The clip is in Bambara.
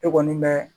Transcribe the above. E kɔni bɛ